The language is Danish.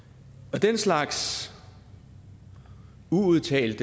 den slags uudtalt